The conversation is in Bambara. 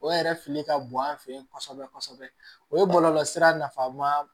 O yɛrɛ fili ka bon an fɛ yen kosɛbɛ kosɛbɛ o ye bɔlɔlɔsira nafanba